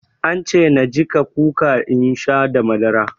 An ce na jiƙa kuka in sha da madara.